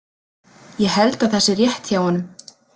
Ég held að það sé rétt hjá honum.